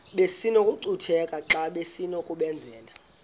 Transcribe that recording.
besinokucutheka xa besinokubenzela